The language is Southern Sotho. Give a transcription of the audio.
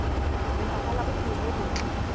lefapha la bophelo bo botle